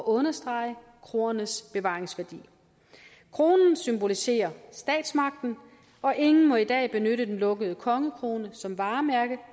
understrege kroernes bevaringsværdi kronen symboliserer statsmagten og ingen må i dag benytte den lukkede kongekrone som varemærke